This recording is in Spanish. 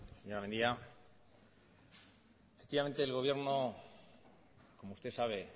efectivamente el gobierno como usted sabe